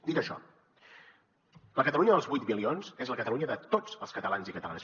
dit això la catalunya dels vuit milions és la catalunya de tots els catalans i catalanes